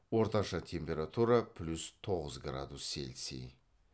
орташа температура плюс тоғыз градус цельсий